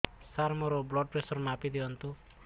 ସାର ମୋର blood pressure ମାପି ଦିଅନ୍ତୁ